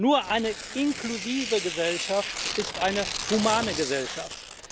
Nur eine inklusive Gesellschaft ist eine humane Gesellschaft.